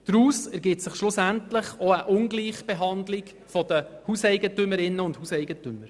Daraus ergibt sich schliesslich auch eine Ungleichbehandlung der Hauseigentümerinnen und Hauseigentümer.